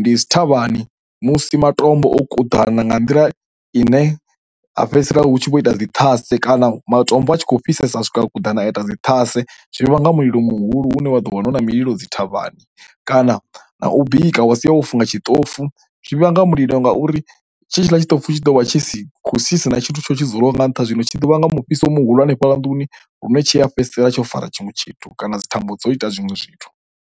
ndi dzi thavhani musi matombo o kuḓana nga nḓila ine a fhedzisela hu tshi vho ita dzi ṱhase kana matombo a tshi khou fhisesa swika kuḓana ita dzi ṱhase. Zwi vhanga mulilo muhulu une wa ḓo wana na mililo dzi thavhani, kana na na u bika wa si o funga tshi ṱofu zwi vhanga mulilo ngauri tshe tshiḽa tshi ṱofu tshi ḓo vha tshi si hu si na tshithu tsho tshi dzulwa nga nṱha, zwino tshi ḓovha nga mufhiso muhulu hanefhaḽa nduni lune tshi a fhedzisela tsho fara tshiṅwe tshithu kana dzi thambo dzo ita zwinwe zwithu.